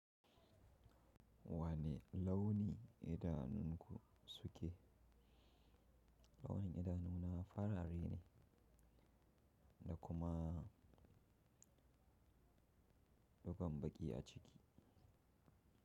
Wane launi idanunku suke? Launin idanuna farare ne da kuma dugon baƙi a ciki.